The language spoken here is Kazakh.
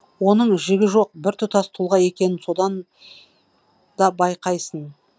оның жігі жоқ біртұтас тұлға екенін содан да байқайсың